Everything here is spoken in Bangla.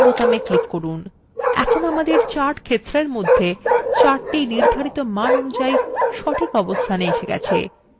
আমরা chart ক্ষেত্রর মধ্যে chart নির্ধারিত মান অনুযায়ী সঠিক অবস্থানে এসে গেছে